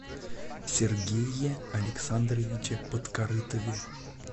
сергее александровиче подкорытове